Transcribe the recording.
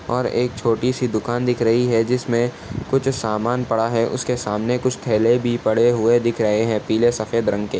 और एक छोटी सी दुकान दिख रही है जिसमे कुछ सामान पड़ा है उसके सामने कुछ थैले भी पड़े हुए दिख रहे हैं पीले सफ़ेद रंग के।